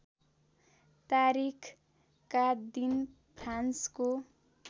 तारिखका दिन फ्रान्सको